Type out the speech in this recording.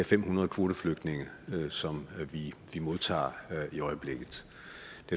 fem hundrede kvoteflygtninge som vi modtager i øjeblikket